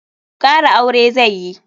Kara aure zai yi.